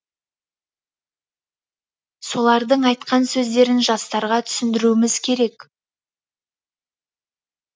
солардың айтқан сөздерін жастарға түсіндіруіміз керек